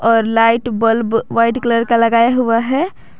और light bulb white colour का लगाया हुआ है।